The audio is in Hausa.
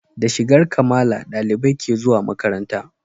Da shigar Kamala ɗalibai ke zuwa makaranta